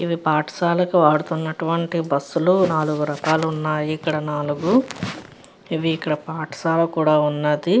ఇవి పాఠశాలకి వాడుతున్నటువంటి బస్ లు. నాలుగు రకాలు ఉన్నాయి ఇక్కడ నాలుగు. ఇక్కడ పాఠశాల కూడా ఉన్నది.